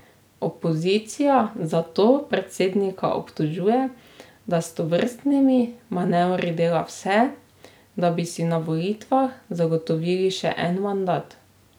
Opozicija zato predsednika obtožuje, da s tovrstnimi manevri dela vse, da bi si na volitvah zagotovil še en mandat.